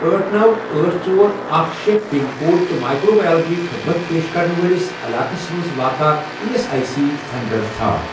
أٹھ، نوَ، أٹھ، ژور، اکھَ، شے، پِن کوڈ تہٕ مایکرٛو بایولجی خدمت پیش کرن وٲلِس علاقس مَنٛز واقع E S I C centre ژھار۔